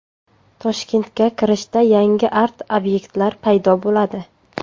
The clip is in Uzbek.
Toshkentga kirishda yangi art-obyektlar paydo bo‘ladi.